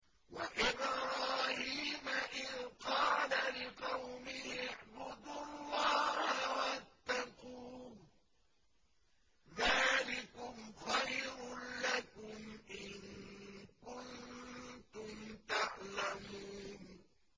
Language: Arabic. وَإِبْرَاهِيمَ إِذْ قَالَ لِقَوْمِهِ اعْبُدُوا اللَّهَ وَاتَّقُوهُ ۖ ذَٰلِكُمْ خَيْرٌ لَّكُمْ إِن كُنتُمْ تَعْلَمُونَ